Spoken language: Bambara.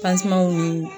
ni